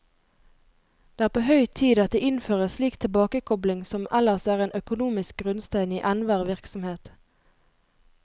Det er på høy tid at det innføres slik tilbakekobling som ellers er en økonomisk grunnsten i enhver virksomhet.